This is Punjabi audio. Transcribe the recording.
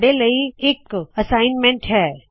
ਤੁਹਾੱਡੇ ਲਈ ਇਕ ਨਿਯਤ ਕਾਰਜ ਹੈ